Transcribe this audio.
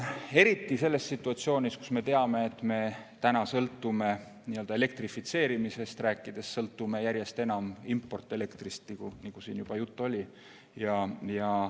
Eriti selles situatsioonis, kus me teame, et me täna sõltume elektrifitseerimisest rääkides järjest enam importelektrist, nagu siin juba juttu oli.